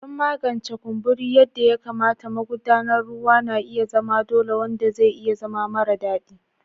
Don magance kumburi yadda ya kamata, magudanar ruwa na iya zama dole, wanda zai iya zama mara daɗi.